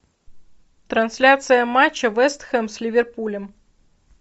трансляция матча вест хэм с ливерпулем